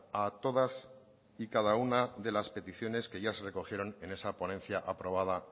a todas y cada una de las peticiones que ya se recogieron en esa ponencia aprobada